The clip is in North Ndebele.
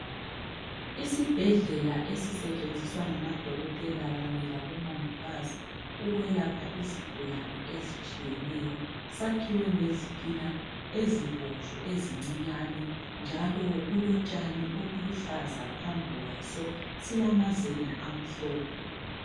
Isibhedlela esisetshenziswa ngamadokotela kanye labomongikazi ukwelapha izigulane ezitshiyeneyo sakhiwe ngezitina ezibomvu ezincinyane njalo kulotshani obuluhlaza phambi kwaso, silamazenge amhlophe.